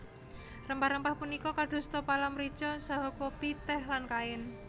Rempah rempah punika kadosta pala mrica saha kopi tèh lan kain